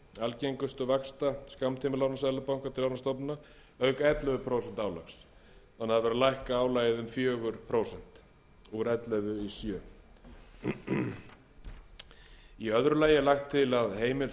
algengustu vaxta skammtímalána seðlabanka til lánastofnana auk ellefu prósent álags það er verið er að lækka álagið um fjögur prósent úr ellefu í sjöunda í öðru lagi er lagt til að heimild